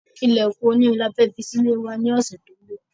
Ilèkùn oní irin ni a fẹ́ fi sí ilé wa ní ọsẹ to n bò